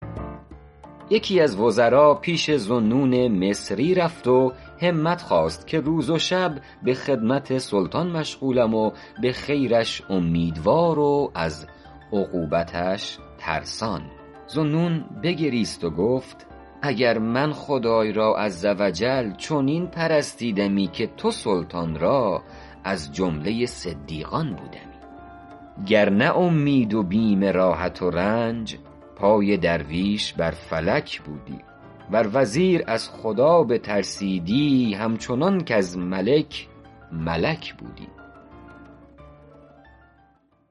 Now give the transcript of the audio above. یکی از وزرا پیش ذوالنون مصری رفت و همت خواست که روز و شب به خدمت سلطان مشغولم و به خیرش امیدوار و از عقوبتش ترسان ذوالنون بگریست و گفت اگر من خدای را عز و جل چنین پرستیدمی که تو سلطان را از جمله صدیقان بودمی گر نه اومید و بیم راحت و رنج پای درویش بر فلک بودی ور وزیر از خدا بترسیدی هم چنان کز ملک ملک بودی